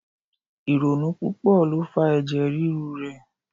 Ironu pupo lo fa ẹjẹ riru rẹ